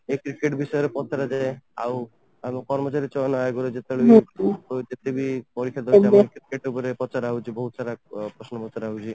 ୟେ cricket ବିଷୟରେ ପଚରାଯାଏ ଆଉ କର୍ମଚାରୀ ସେମାନଙ୍କ ଆଗରୁ ଯେବେ ବି ପଇସା ପଚାରାହଉଛି ବହୁତସାରା ପ୍ରଶ୍ନ ପଚରାଯାଉଛି